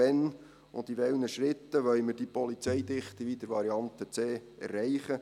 Wann und in welchen Schritten wollen wir die Polizeidichte, wie in Variante C, erreichen?